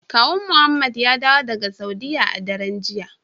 Kawun muhammed ya dawo daga saudiya a daren jiya.